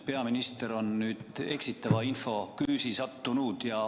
Peaminister on nüüd eksitava info küüsi sattunud.